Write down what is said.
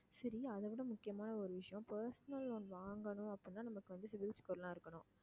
சரி அதைவிட முக்கியமான ஒரு விஷயம் personal loan வாங்கணும் அப்படின்னா நமக்கு வந்து cibil score லாம் இருக்கணும்